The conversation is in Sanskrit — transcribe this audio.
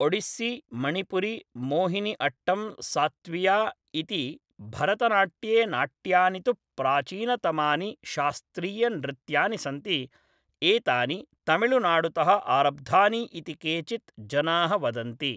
ओडिस्सि मणिपुरि मोहिनि अट्टं सत्त्विया इ्ति भरतनाट्ये नाट्यानि तु प्राचीनतमानि शास्त्रीयनृत्यानि सन्ति एतानि तमिळुनाडुतः आरब्धानि इति केचित् जनाः वदन्ति